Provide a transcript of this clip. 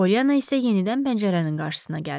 Polyanna isə yenidən pəncərənin qarşısına gəldi.